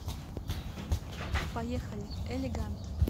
поехали элегант